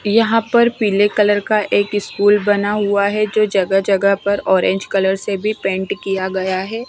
यहां पर पीले कलर का एक स्कूल बना हुआ है जो जगह जगह पर ऑरेंज कलर से भी पेंट किया गया है।